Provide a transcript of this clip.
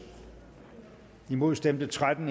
imod stemte tretten